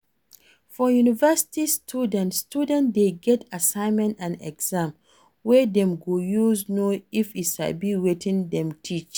For university studies student de get assignment and exams wey dem go use know if e sabi wetin dem teach